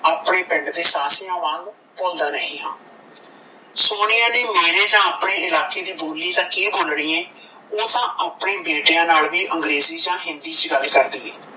ਆਪਣੇ ਪਿੰਡ ਦੇ ਸਾਫ਼ਿਆਂ ਵਾਂਗ ਭੁੱਲਦਾ ਨਹੀਂ ਹਾਂ ਸੋਨੀਆ ਨੇ ਮੇਰੇ ਨਾਲ ਆਪਣੇ ਇਲਾਕੇ ਦੀ ਬੋਲੀ ਤਾਂ ਕੀ ਬੋਲਣੀ ਏ ਓਹ ਤਾਂਆਪਣੇ ਬੇਟਿਆਂ ਨਾਲ ਵੀ ਅੰਗਰੇਜੀ ਜਾਣ ਹਿੰਦੀ ਚ ਗੱਲ ਕਰਦੀ ਏ